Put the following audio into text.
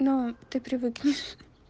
но ты привыкнешь